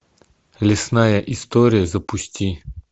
лесная история запусти